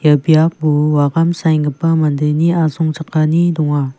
biapo wagam saenggipa mandeni asongchakani donga.